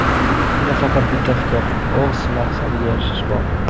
Unda faqat bitta fikr – o‘z maqsadiga erishish bor.